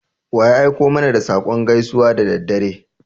Wa ya aiko mana da saƙon gaisuwa da daddare?